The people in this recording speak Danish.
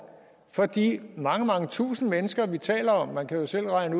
for de mange mange tusind mennesker vi taler om man kan jo selv regne